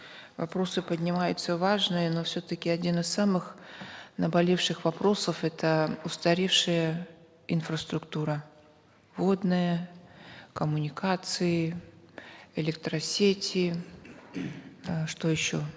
вопросы поднимаются важные но все таки один из самых наболевших вопросов это устаревшая инфраструктура водная коммуникации электросети э что еще